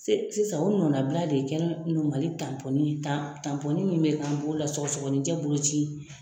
Si sisan o nɔnabila de kɛra Mali tanpɔnin ye tan tanpɔnin min bɛ k'an bolo la sɔgɔsɔgɔninjɛ boloci.